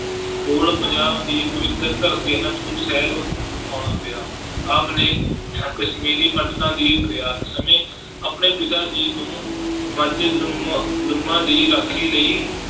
ਕੋਲ ਪੰਜਾਬ ਦੀ ਪਵਿੱਤਰ ਧਰਤੀ ਆਨੰਦਪੁਰ ਸਾਹਿਬ ਆਉਣਾ ਪਿਆ ਆਪ ਨੇ ਕਸ਼ਮੀਰੀ ਪੰਡਿਤਾਂ ਦੀ ਫ਼ਰਿਆਦ ਸਮੇਂ ਆਪਣੇ ਪਿਤਾ ਜੀ ਨੂੰ ਮਜਲੂਮਾਂ ਲੂਮਾਂ ਦੀ ਰਾਖੀ ਲਈ